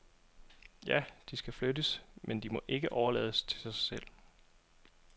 Ja, de skal flyttes, men de må ikke overlades til sig selv.